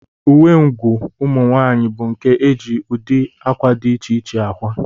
Uwengụ ụmụnwaanyị bụ nke e ji ụdị akwa dị iche iche akwa